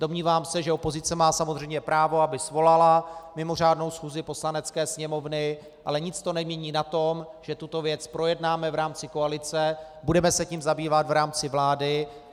Domnívám se, že opozice má samozřejmě právo, aby svolala mimořádnou schůzi Poslanecké sněmovny, ale nic to nemění na tom, že tuto věc projednáme v rámci koalice, budeme se tím zabývat v rámci vlády.